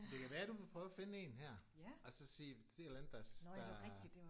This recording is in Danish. Det kan være du vil prøve at finde en her og så sige sige et eller andet der der